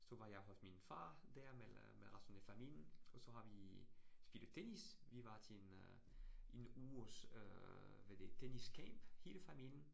Så var jeg hos min far dér med med resten af familien, og så har vi spillet tennis. Vi var til en øh en uges øh hvad det tennis camp hele familien